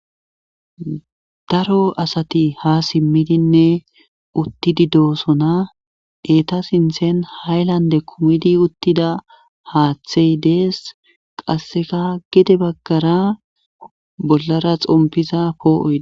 daro asati ha simmidinne uttidi doosona eeta sinthen haylande kumidi uttida haaththey dees qasseka gede baggara bollara xompiza poo7oyi